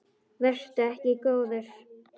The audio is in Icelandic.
Vertu ekki góður.